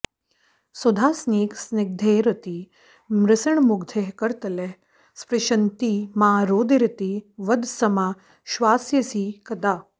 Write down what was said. सुधासेकस्निग्धैरतिमसृणमुग्धैः करतलैः स्पृशन्ती मा रोदीरिति वद समाश्वास्यसि कदा